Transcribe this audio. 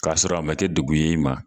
Ka sɔrɔ a ma kɛ dugun y'i ma